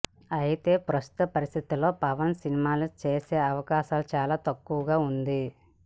అయితే ప్రస్తుత పరిస్థితుల్లో పవన్ సినిమాలు చేసే అవకాశం చాలా తక్కువగా ఉంది